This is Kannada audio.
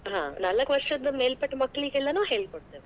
ಹಾ ನಾಲ್ಕ ವರ್ಷದ್ ಮೇಲ್ಪಟ್ಟ ಮಕ್ಕಳಿಗೆಲ್ಲನೂ ಹೇಳಿ ಕೊಡ್ತೇನೆ.